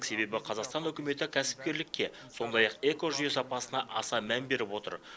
себебі қазақстан үкіметі кәсіпкерлікке сондай ақ экожүйе сапасына аса мән беріп отыр